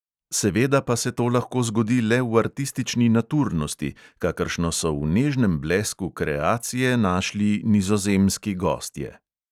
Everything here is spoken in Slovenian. Seveda pa se to lahko zgodi le v artistični naturnosti, kakršno so v nežnem blesku kreacije našli nizozemski gostje.